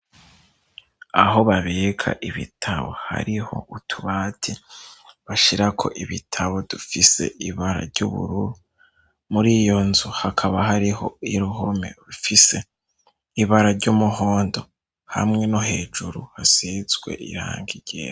Aho babika ibitabo, hariho utubati bashira ko ibitabo dufise ibara ry'ubururu muri iyo nzu hakaba hariho uruhome rufise ibara ry'umuhondo hamwe no hejuru hasizwe irangi ryera.